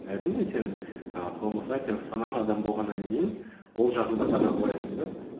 әрине сен і саналы адам болғаннан кейін ол жағын да таразылайсың да